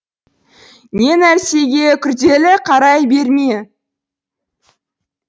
не нәрсеге күрделі қарай берме